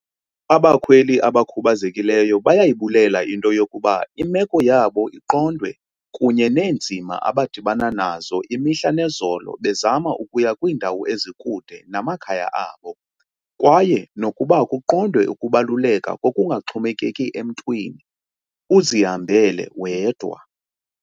"Abakhweli abakhubazekileyo bayayibulela into yokuba imeko yabo iqondwe kunye neenzima abadibana nazo imihla nezolo bezama ukuya kwiindawo ezikude namakhaya abo, kwaye nokuba kuqondwe ukubaluleka kokungaxhomekeki emntwini, uzihambele wedwa."